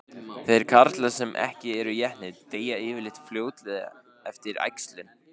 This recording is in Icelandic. Þeir karlar sem ekki eru étnir deyja yfirleitt fljótlega eftir æxlun.